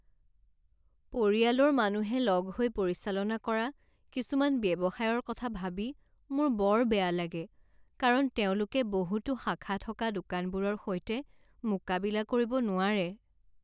পৰিয়ালৰ মানুহে লগ হৈ পৰিচালনা কৰা কিছুমান ব্যৱসায়ৰ কথা ভাবি মোৰ বৰ বেয়া লাগে কাৰণ তেওঁলোকে বহুতো শাখা থকা দোকানবোৰৰ সৈতে মোকাবিলা কৰিব নোৱাৰে।